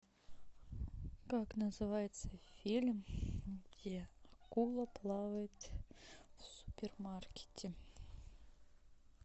как называется фильм где акула плавает в супермаркете